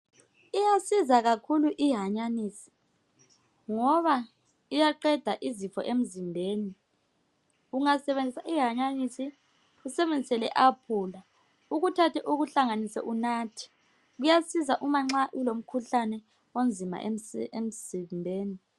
Iyasiza kakhulu ihanyanyisi ngoba iyaqeda izifo emzimbeni ungasebenzisa ihanyanisa usebenzise le apula ukuthathe ukuhlanganise unathe kuyasiza uma nxa ulokhuhlane omzima emzimbeni.